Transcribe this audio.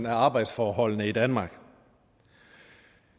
af arbejdsforholdene i danmark